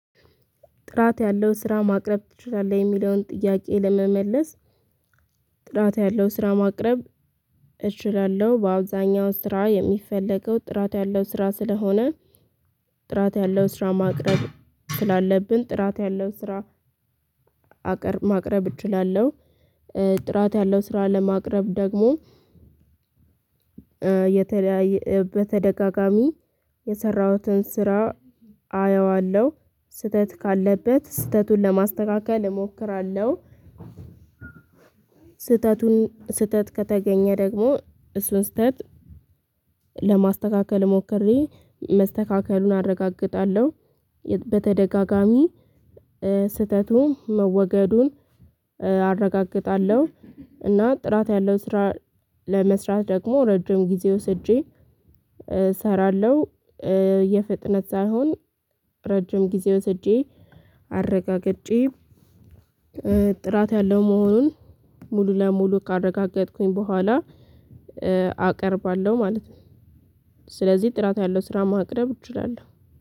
ጥራት ያለው ስራ ማቅረብ ትቻላል የሚለውን ጥያቄ ለመመለስ? ጥራት ያለው ስራ ማቅረብ እችላለሁ በአብዛኛው ስራ የሚፈለገው ጥራት ያለው ስራ ስለሆነ ጥራት ያለው ስራ ማቅረብ ስላለብን ጥራት ያለው ስራ ማቅረብ እችላለሁ። ጥራት ያለው ስራ ለማቅረብ ደግሞ የተለያየ በተደጋጋሚ የሰራሁትን ስራ አየዋለሁ ስህተት ካለበት ስህተቱን ለማስተካከል እሞክራለሁ። ስህተቱን ስህተት ከተገኘ ደግሞ እሱን ስህተት ለማስተካከል ሞክሬ መስተካከሉን አረጋግጣለሁ በተደጋጋሚ ስህተቱን መወገዱን አረጋግጣለሁ። እና ጥራት ያለው ስራ ለመስራት ደግሞ ረጅም ጊዜ ወስጄ እሰራለሁ የፍጥነት ሳይሆን ረጅም ጊዜ ወስጄ አረጋግጬ ጥራት ያለው መሆኑን ሙሉ ለሙሉ ካረጋገጥኩኝ በኋላ አቀርባለሁ ማለት ነው። ስለዚህ ጥራት ያለው ስራ ማቅረብ እችላለሁ።